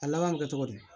A laban bɛ kɛ cogo di